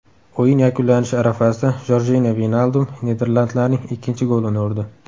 O‘yin yakunlanishi arafasida Jorjinyo Veynaldum niderlandlarning ikkinchi golini urdi.